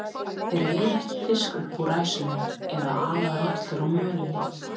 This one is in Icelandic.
Þeir veiða ekki fisk upp úr ræsunum eða ala rollur á mölinni.